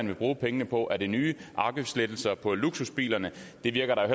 vil bruge pengene på er det nye afgiftslettelser på luksusbiler det virker